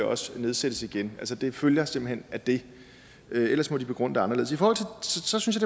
også nedsættes igen det følger simpelt hen af det ellers må de begrunde det anderledes så synes